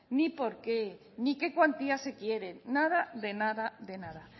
ni por qué ni qué cuantías se quieren nada de nada de nada